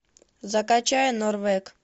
закачай норвег